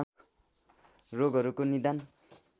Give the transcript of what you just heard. रोगहरूको निदान